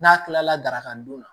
N'a kilala daraka don la